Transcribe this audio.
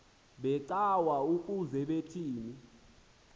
becawa ukuze kuthini